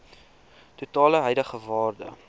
totale huidige waarde